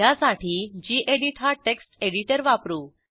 ह्यासाठी गेडीत हा text editor वापरू